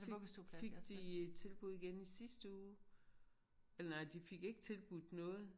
Fik fik de tilbud igen i sidste uge eller nej de fik ikke tilbudt noget